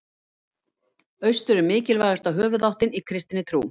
Austur er mikilvægasta höfuðáttin í kristinni trú.